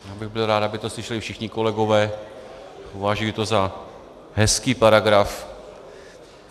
Já bych byl rád, aby to slyšeli všichni kolegové, považuji to za hezký paragraf.